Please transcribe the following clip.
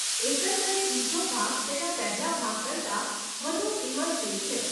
એકંદરે બીજો ભાગ તેના પહેલાં ભાગ કરતાં વધુ ઈમર્સીવ છે.